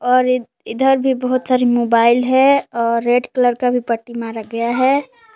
और ई इधर भी बहुत सारी मोबाइल है और रेड कलर का भी पट्टी मारा गया है।